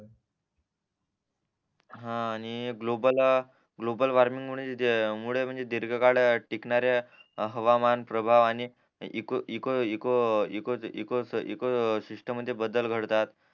हा आणि global global warming मुळे म्हणजे दीर्घकाळ टिकणाऱ्या हवामान प्रभाव आणि eco eco eco eco eco इकोशीस्त म्हणजे बदल घडतात